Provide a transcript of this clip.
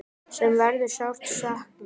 Sem verður sárt saknað.